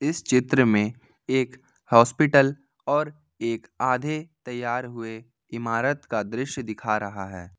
इस चित्र में एक हॉस्पिटल और एक आधे तैयार हुए इमारत का दृश्य दिखा रहा है।